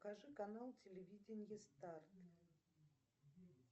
покажи канал телевидения старт